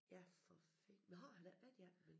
Ja for fi nåh han har ikke været i 18b?